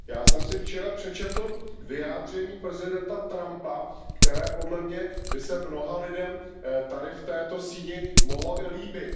Já jsem si včera přečetl vyjádření prezidenta Trumpa, které podle mě by se mnoha lidem tady v této síni mohlo i líbit.